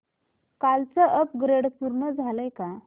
कालचं अपग्रेड पूर्ण झालंय का